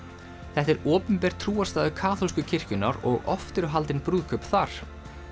þetta er opinber kaþólsku kirkjunnar og oft eru haldin brúðkaup þar